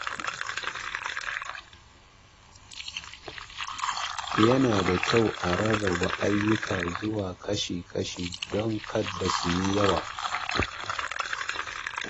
Yana da kyau a rarraba ayyuka zuwa kashi-kashi don kada su yi yawa.